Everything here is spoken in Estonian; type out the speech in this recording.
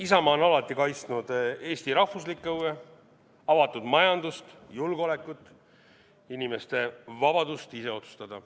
Isamaa on alati kaitsnud Eesti rahvuslikke huve, avatud majandust, julgeolekut, inimeste vabadust ise otsustada.